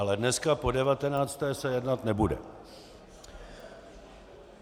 Ale dneska po devatenácté se jednat nebude.